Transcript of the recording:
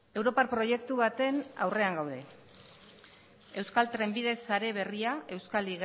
europar proiektu baten aurrean gaude euskal trenbide sare berria euskal